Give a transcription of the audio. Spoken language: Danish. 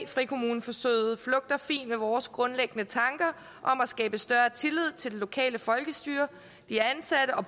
frikommuneforsøget flugter fint med vores grundlæggende tanker om at skabe større tillid til det lokale folkestyre de ansatte og